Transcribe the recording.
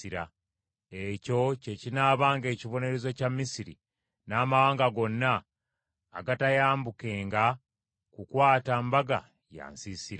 Ekyo kye kinaabanga ekibonerezo kya Misiri n’amawanga gonna agataayambukenga kukwata mbaga ya nsiisira.